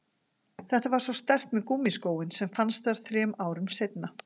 Þetta var svo sterkt með gúmmískóinn sem fannst þar þremur árum seinna.